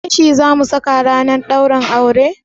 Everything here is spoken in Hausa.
Leshi zamu saka ranar ɗaurin aure?